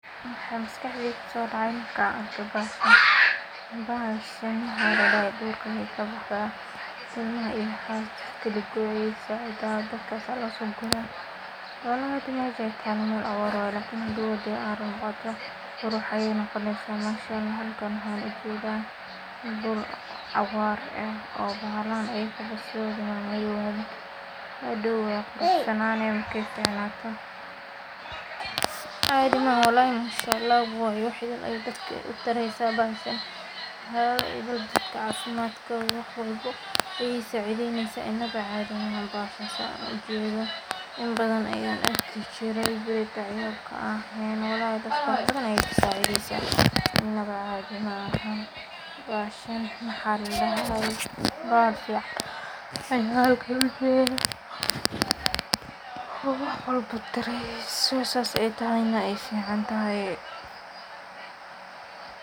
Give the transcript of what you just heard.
Waxaa maskaxadayda ku sodacay marka argo baxashan waxa ladaha dulka ayay ka baxdah ilama ilama aya masha tahalo mal awar waya oo dur iyo aran quruxayay noqonaysah bahashan halkan waxan ujada in bul bahalahan aya hadow aya cunan markay cunanan, cadi mahan walhi mashallah waya waxay dadka u tariso baxashan dawo idal dadka cafimadkoda wax walbo ay sa cidaynasah inba cadii mahan baxashan sidan ujado inbadan ayay dihi jire malaha dadka wax baadan ayay ka sacidaynasah inaba cade mahan baxashan waxa ladahay baxal fican waxan kle ujada, wax walbo tariysoh ayna ay ficantahay.